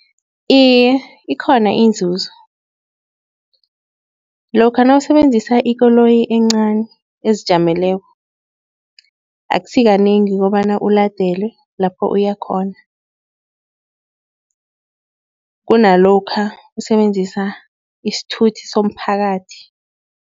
Iye, ikhona inzuzo lokha nawusebenzisa ikoloyi encani ezijameleko akusikanengi kobana uladelwe lapho uyakhona. Kunalokha usebenzisa isithuthi somphakathi.